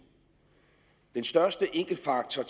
den største enkeltfaktor